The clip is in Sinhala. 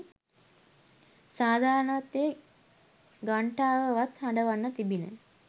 සාධාරණත්වයේ ඝණ්ඨාවවත් හඬවන්නට තිබිණ.